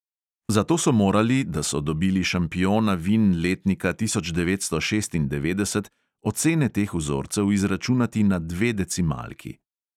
Zato so morali, da so dobili šampiona vin letnika tisoč devetsto šestindevetdeset, ocene teh vzorcev izračunati na dve decimalki.